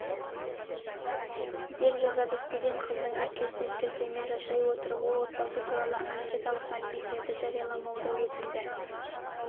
деп жазады студент қыздың әпкесіне сілтеме жасай отырып ол отбасы туралы анкеталық мәліметтерді жарияламауды өтінді